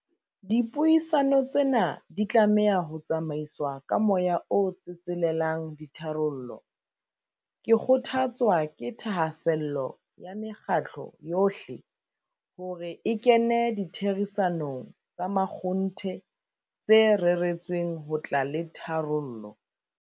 Dipuisano tsena di tlameha ho tsamaiswa ka moya o tsetselelang ditharollo. Ke kgothatswa ke thahasello ya mekgatlo yohle, hore e kene ditherisanong tsa makgonthe tse reretsweng ho tla le tharollo.